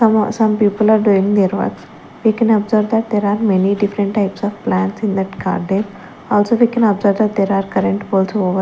some people are doing their work we can observe that there are many different types of plants in that carder also we can observe that there are current poles over --